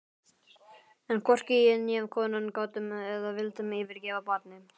En hvorki ég né konan gátum eða vildum yfirgefa barnið.